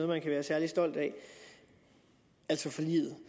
man kan være særlig stolt af altså forliget